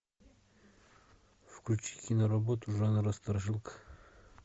включи киноработу жанра страшилка